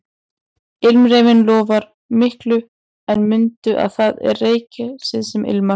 Ilmreyrinn lofar miklu en mundu að það er reyrgresið sem ilmar